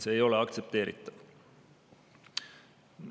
See ei ole aktsepteeritav.